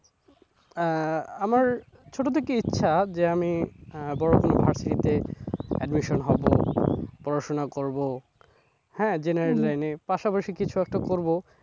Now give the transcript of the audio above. আহ আমার ছোটো থেকেই ইচ্ছা যে আমি আহ বড়ো কোন versity তে admission হবো পড়াশোনা করবো হ্যাঁ general line এ, পাশাপাশি কিছু একটা করবো,